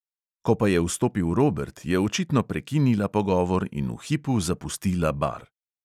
Ko pa je vstopil robert, je očitno prekinila pogovor in v hipu zapustila bar.